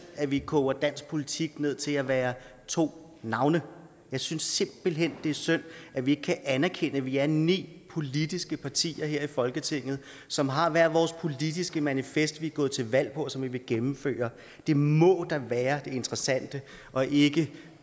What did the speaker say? at vi koger dansk politik ned til at være to navne jeg synes simpelt hen det er synd at vi ikke kan anerkende at vi er ni politiske partier her i folketinget som har hver vores politiske manifest vi er gået til valg på og som vi vil gennemføre det må da være det interessante og ikke